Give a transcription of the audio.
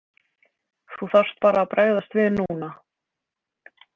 Þú þarft bara að bregðast við núna.